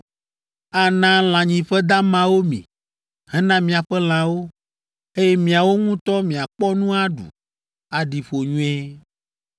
Ana lãnyiƒe damawo mi hena miaƒe lãwo, eye miawo ŋutɔ miakpɔ nu aɖu, aɖi ƒo nyuie.